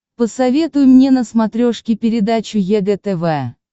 посоветуй мне на смотрешке передачу егэ тв